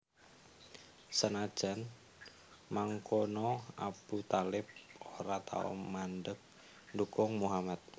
Senajan mangkono Abu Thalib ora tau mandheg ndukung Muhammad